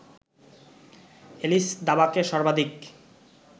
Alice দাবাকে সর্বাধিক